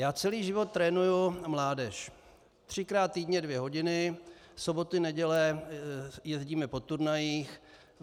Já celý život trénuji mládež třikrát týdně dvě hodiny, soboty neděle jezdíme po turnajích.